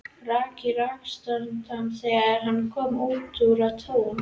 Rak í rogastans þegar hann kom út á Tún.